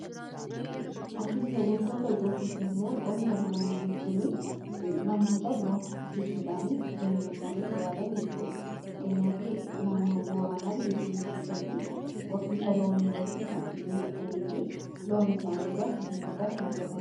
Horsiise bultoota yookiisi immoo qonna loonii jechuun namoota loon horsiisuudhaanii jireenya isaanii jiraatan jechuudha .Fakkeenyaa fi naannoo booranaa biyya keenya keessatti horsiisa loonii irratti kan xiyyeeffatanii fi loon isaanii irraa galii guddaa kan argatan.